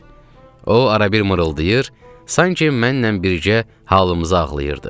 O arabir mırıldayır, sanki mənlə birgə halımızı ağlayırdı.